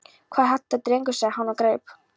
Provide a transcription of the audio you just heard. Hvað er þetta drengur? sagði hann og greip